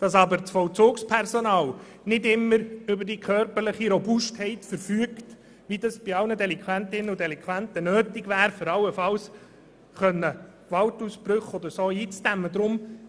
Das Vollzugspersonal verfügt jedoch nicht immer über die körperliche Robustheit, wie sie bei gewissen Delinquentinnen und Delinquenten nötig wäre, um allenfalls Gewaltausbrüche oder ähnliches eindämmen zu können.